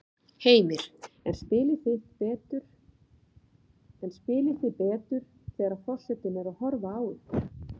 Heimir: En spilið þið betur þegar að forsetinn er að horfa á ykkur?